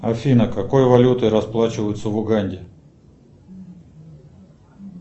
афина какой валютой расплачиваются в уганде